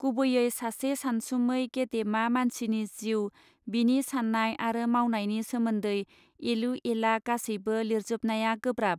गुबैयै सासे सानसुमै गेदेमा मानसिनि जिउ बिनि साननाय आरो मावनायनि सोमोन्दै एलु एला गासैबो लिरजोबनाया गोब्राब.